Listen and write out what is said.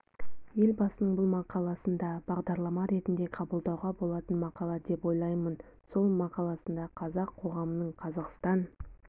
елбасының бұл мақаласын да бағдарлама ретінде қабылдауға болатын мақала деп ойлаймын сол мақаласында қазақ қоғамының қазақстан